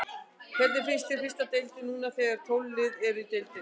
Hvernig finnst þér fyrsta deildin núna þegar að tólf lið eru í deildinni?